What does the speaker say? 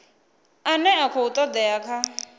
ane a khou todea kha